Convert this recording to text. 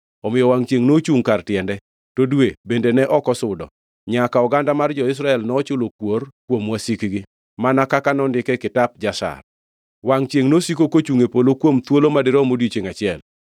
Omiyo wangʼ chiengʼ nochungʼ kar tiende, to dwe bende ne ok osudo, nyaka oganda mar jo-Israel nochulo kuor kuom wasikgi, mana kaka nondike e Kitap Jashar. Wangʼ chiengʼ nosiko kochungʼ e polo kuom thuolo madirom odiechiengʼ achiel.